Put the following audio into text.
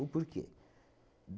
porquê?